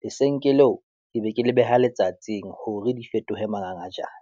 lesenke leo, ke be ke le beha letsatsing hore di fetohe mangangajane.